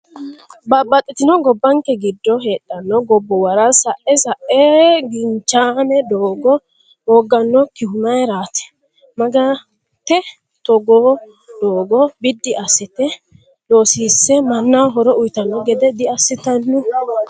Babbaxitino gobbanke giddo heedhano gobbuwara sa'e sa'e ginchaame doogo hoogganokihu mayiirati? Mangite togoo doogo biddi assite loosisse mannaho horo uyiitanno gede diassitanno?